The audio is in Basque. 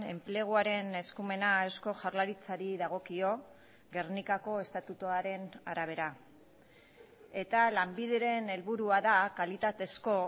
enpleguaren eskumena eusko jaurlaritzari dagokio gernikako estatutuaren arabera eta lanbideren helburua da kalitatezko